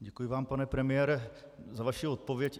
Děkuji vám, pane premiére, za vaši odpověď.